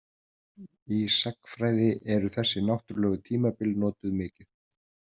Í sagnfræði eru þessi náttúrlegu tímabil notuð mikið.